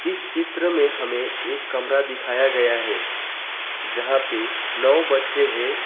इस चित्र में हमें एक कमरा दिखाया गया है जहां पे नौ बच्चे हैं।